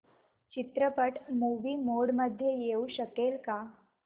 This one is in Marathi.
चित्रपट मूवी मोड मध्ये येऊ शकेल का